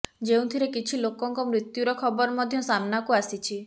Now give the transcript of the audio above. ଯେଉଁଥିରେ କିଛି ଲୋକଙ୍କ ମୃତ୍ୟୁର ଖବର ମଧ୍ୟ ସାମ୍ନାକୁ ଆସିଛି